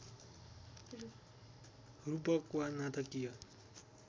रूपक वा नाटकीय